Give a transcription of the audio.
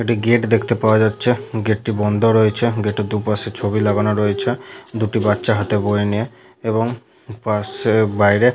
একটি গেট দেখতে পাওয়া যাচ্ছে গেট -টি বন্ধ রয়েছে গেট -এর দুপাশে ছবি লাগানো রয়েছে। দুটি বাচ্চা হাতে বই নিয়ে এবং পাশে বাইরে --